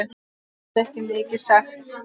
Ég get ekki mikið sagt.